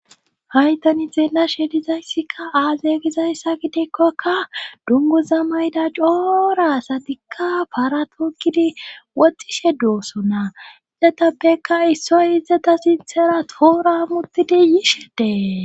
Haytani zeena shedizayssikka aaze gizayssa gideekkokka dunguza mayda coora asatikka paratoogidi woxxishe dooso na izatapbekka issoy izata sinthera tooramutidiyishedee.